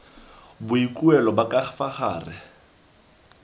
boikuelo ba ka fa gare